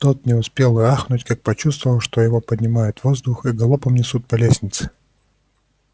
тот не успел и ахнуть как почувствовал что его поднимают в воздух и галопом несут по лестнице